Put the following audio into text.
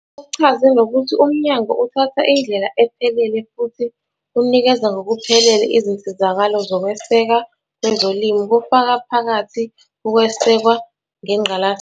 Uchaze nokuthi umnyango uthatha indlela ephelele futhi unikeza ngokuphelele izinsizakalo zokweseka kwezolimo, kufaka phakathi ukwesekwa ngengqalasizinda.